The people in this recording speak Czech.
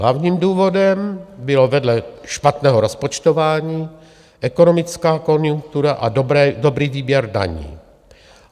Hlavním důvodem byly vedle špatného rozpočtování - ekonomická konjunktura a dobrý výběr daní.